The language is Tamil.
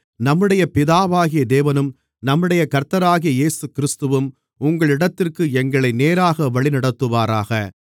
நம்முடைய பிதாவாகிய தேவனும் நம்முடைய கர்த்தராகிய இயேசுகிறிஸ்துவும் உங்களிடத்திற்கு எங்களை நேராக வழிநடத்துவாராக